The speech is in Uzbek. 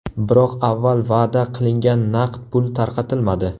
Biroq avval va’da qilingan naqd pul tarqatilmadi.